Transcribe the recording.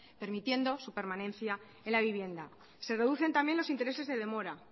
permitiendo su permanencia en la vivienda se reducen también los intereses de demora